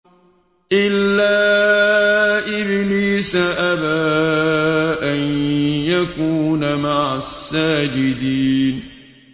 إِلَّا إِبْلِيسَ أَبَىٰ أَن يَكُونَ مَعَ السَّاجِدِينَ